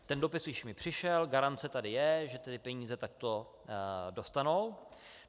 Ten dopis už mi přišel, garance tady je, že ty peníze takto dostanou.